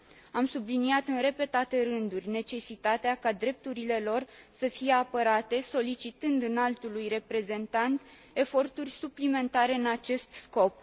Am subliniat în repetate rânduri necesitatea ca drepturile lor să fie apărate solicitând Înaltului Reprezentant eforturi suplimentare în acest scop.